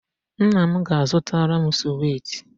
Nna m ga-zụtara m suweti